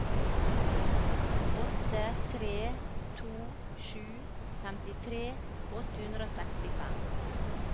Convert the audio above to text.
åtte tre to sju femtitre åtte hundre og sekstifem